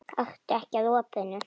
Gakktu ekki að opinu.